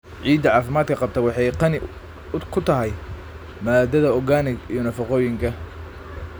Ciidda caafimaadka qabta waxay qani ku tahay maadada organic iyo nafaqooyinka.